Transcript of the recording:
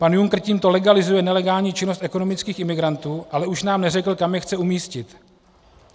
Pan Juncker tímto legalizuje nelegální činnost ekonomických imigrantů, ale už nám neřekl, kam je chce umístit.